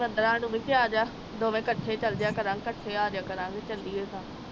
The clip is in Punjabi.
ਵੰਦਨਾ ਨੂੰ ਕਿਹਾ ਮੇਹਾ ਅਜ ਦੋਵੇਂ ਕੱਠੇ ਚਲਜੇਆ ਕਰਾਂਗੇ ਕੱਠੇ ਅਜੇਆ ਕਰਾਂਗੇ ਚਲੀਏ ਤਾ